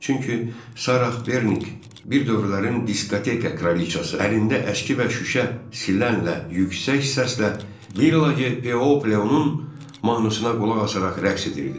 Çünki Sarah Bernik bir dövrlərin diskoteka kraliçası, əlində əski və şüşə silənlə yüksək səslə “Villaje Piole” onun mahnısına qulaq asaraq rəqs edirdi.